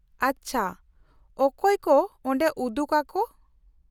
-ᱟᱪᱪᱷᱟ, ᱚᱠᱚᱭ ᱠᱚ ᱚᱰᱮ ᱩᱫᱩᱜᱟ ᱠᱚ ?